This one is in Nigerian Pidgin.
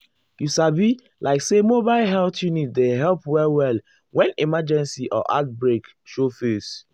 you sabi like say mobile health unit dey help well-well when emergency or outbreak show face.